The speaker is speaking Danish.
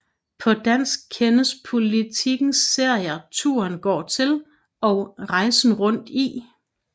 På dansk kendes Politikens serier Turen går til og Rejsen rundt i